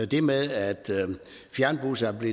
det med at fjernbusserne er